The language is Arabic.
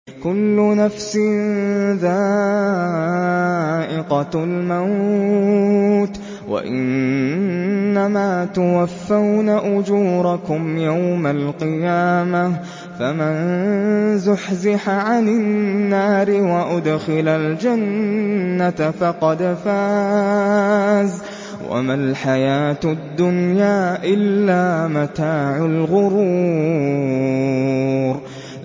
كُلُّ نَفْسٍ ذَائِقَةُ الْمَوْتِ ۗ وَإِنَّمَا تُوَفَّوْنَ أُجُورَكُمْ يَوْمَ الْقِيَامَةِ ۖ فَمَن زُحْزِحَ عَنِ النَّارِ وَأُدْخِلَ الْجَنَّةَ فَقَدْ فَازَ ۗ وَمَا الْحَيَاةُ الدُّنْيَا إِلَّا مَتَاعُ الْغُرُورِ